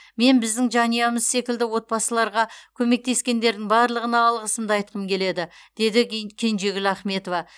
мен біздің жанұямыз секілді отбасыларға көмектескендердің барлығына алғысымды айтқым келеді дейді ке кенжегүл ахметова